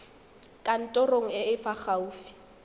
kantorong e e fa gaufi